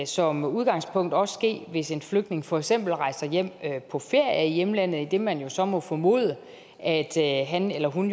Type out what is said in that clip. som udgangspunkt også ske hvis en flygtning for eksempel rejser hjem på ferie i hjemlandet idet man jo så må formode at han eller hun